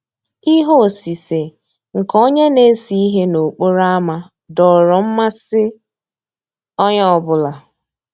Íhé òsìsé nkè ónyé ná-èsé íhé n'òkpòró ámá dòọ́rọ́ mmàsí ónyé ọ́ bụ́là.